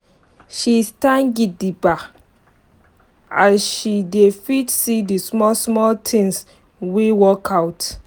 she stand gidigba as she dey fit see d small small tins wey work out.